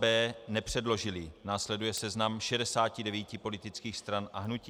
b) nepředložily - následuje seznam 69 politických stran a hnutí.